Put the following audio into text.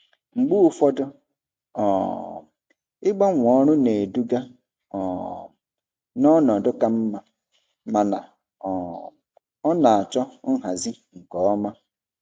Mgbe ụfọdụ um ịgbanwe ọrụ na-eduga um n'ọnọdụ ka mma, mana um ọ na-achọ nhazi nke ọma.